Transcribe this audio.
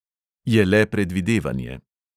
Je le predvidevanje.